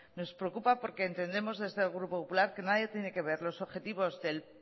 nos preocupa porque entendemos desde el grupo popular que nadie tiene que ver el objetivo del